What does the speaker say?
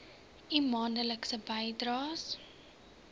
u maandelikse bydraes